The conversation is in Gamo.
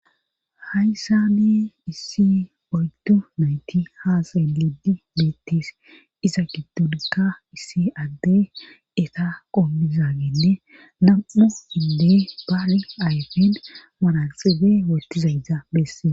Hayssani issi oyddu nayti haasayn lidi meettis iza giddonkka issi adde eta qomizagenne nam'u hinde baari ayfen maralxibe wotizaydza bessee.